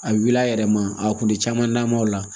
A wuli a yɛrɛ ma a kun tɛ caman namaw la